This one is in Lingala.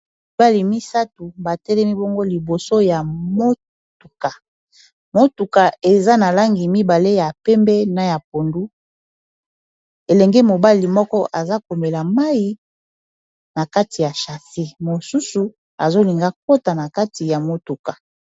Mibali misato batelemi bongo liboso ya motuka, motuka eza na langi mibale ya pembe na ya pondu elenge mobali moko aza komela mayi na kati ya chase mosusu azolinga akota na kati ya motuka.